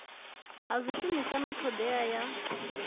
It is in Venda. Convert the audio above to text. ha swishumiswa na hoddea ya